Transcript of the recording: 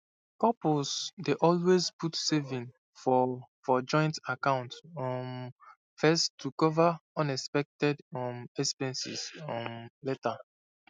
couples dey always put saving for for joint account um first to cover unexpected um expenses um later